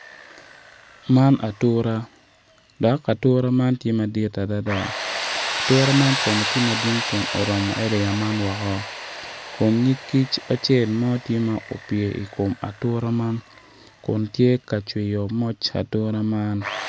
Man atura dok atura man tye madit adada atura man kono tye madwong kun oromo eriya man woko kun nyig kic acel tye ma opye i kom atura man kun tye ka cwiyo moc atura man.